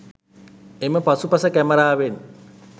එම පසුපස කැමරාවෙන්